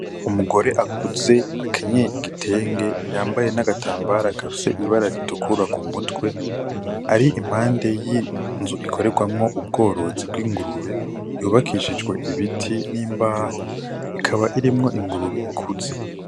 Umugore akuze akenyeye igitenge yambaye n' agatambara gafise ibara ritukura ku mutwe ari impande y' inzu ikoregwamwo ubworozi bw'ingurube yubakishijwe ibiti n' imbaho ikaba irimwo ingurube ikuze.